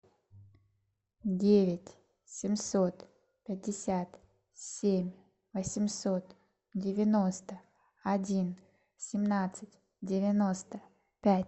девять семьсот пятьдесят семь восемьсот девяносто один семнадцать девяносто пять